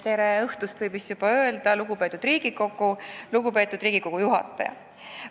Tere õhtust, võib vist juba öelda, lugupeetud Riigikogu ja lugupeetud istungi juhataja!